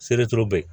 Seleri turu bɛ